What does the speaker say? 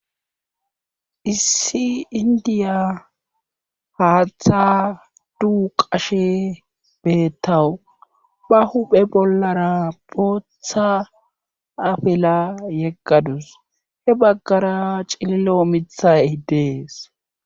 Issi inddiya haaththa duuqashe beetawus. ba huuphe bollara bootha afila yegadus.he bagara cililo miththay des.